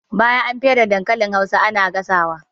Bayan an fere dankalin hausa ana gasa wa